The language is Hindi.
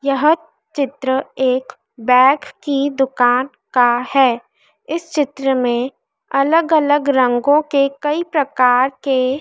यह चित्र एक बैग की दुकान का है इस चित्र में अलग अलग रंगों के कई प्रकार के--